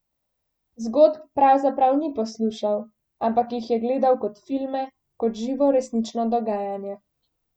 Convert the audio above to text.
Zgodb pravzaprav ni poslušal, ampak jih je gledal kot filme, kot živo, resnično dogajanje.